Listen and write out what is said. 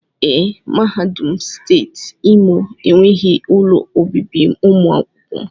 Ee, mahadum steeti Imo enweghị ụlọ obibi ụmụ akwụkwọ